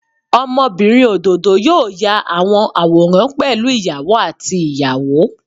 Ọmọbinrin ododo yoo ya awọn aworan pẹlu iyawo ati iyawo.